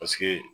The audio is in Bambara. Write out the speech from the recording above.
Paseke